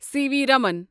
C V Raman